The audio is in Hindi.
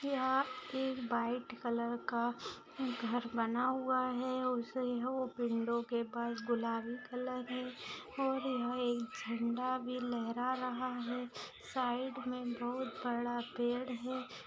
यहाँ एक वाइट कलर का घर बना हुआ है उसे हो विंडो के पास गुलाबी कलर है और यह एक झंडा भी लहरा रहा है साइड में बहुत बड़ा पेड़ है।